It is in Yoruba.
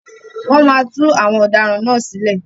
Wọ́n máa tú àwọn ọ̀daràn náà sílẹ̀.